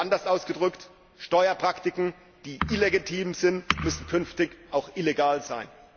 Oder anders ausgedrückt Steuerpraktiken, die illegitim sind, müssen künftig auch illegal sein.